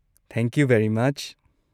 Thank you very ꯃꯆ!